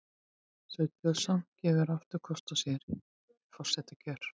Sveinn Björnsson gefur aftur kost á sér við forsetakjör